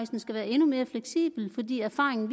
den skal være endnu mere fleksibel fordi erfaringen